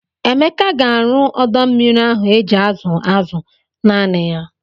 Emeka ga-arụ ọdọ mmiri ahụ eji azụ azụ naanị ya.